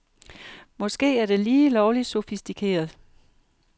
Måske er det lige lovligt sofistikeret.